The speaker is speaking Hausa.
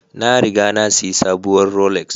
Na riga na sayi sabuwar Rolex